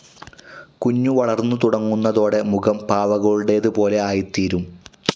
കുഞ്ഞു വളർന്നു തുടങ്ങുന്നതോടെ മുഖം പാവകളുടേതുപോലെ ആയിത്തീരും.